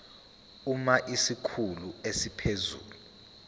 uma isikhulu esiphezulu